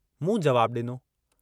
मूं जवाबु डिनो।